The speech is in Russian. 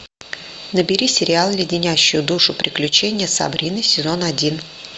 набери сериал леденящие душу приключения сабрины сезон один